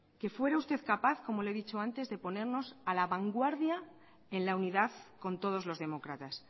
que fuera usted capaz como le he dicho antes de ponernos a la vanguardia en la unidad con todos los demócratas